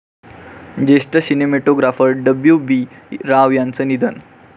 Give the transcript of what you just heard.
ज्येष्ठ cinematographer W B. Rao यांचं निधन